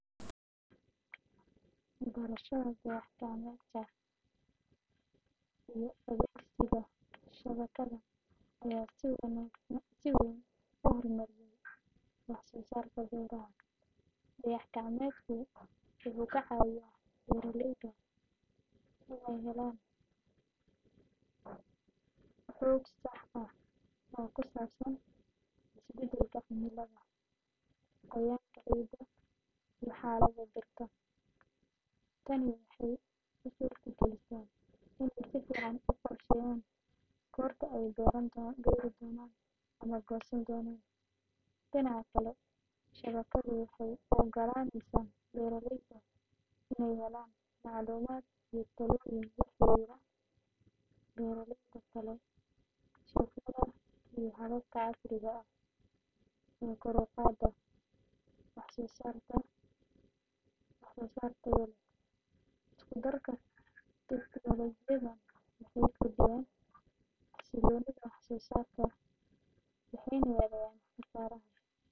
Berashada dayax-gacmeedka iyo adeegsiga shabakadda ayaa si weyn u horumariya wax-soo-saarka beeraha. Dayax-gacmeedku wuxuu ka caawiyaa beeraleyda inay helaan xog sax ah oo ku saabsan isbeddelka cimilada, qoyaanka ciidda, iyo xaaladda dhirta. Tani waxay u suurtagelisaa inay si fiican u qorsheeyaan goorta ay beeri doonaan ama goosan doonaan. Dhinaca kale, shabakaddu waxay u oggolaaneysaa beeraleyda inay helaan macluumaad iyo talooyin la xiriira beeraleyda kale, suuqyada, iyo hababka casriga ah ee kor u qaada wax-soo-saar tayo leh. Isku darka tiknoolajiyadan waxay kordhiyaan xasiloonida wax-soo-saarka, waxayna yareeyaan khasaaraha.